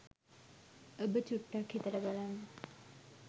ඔබ චුට්ටක් හිතල බලන්න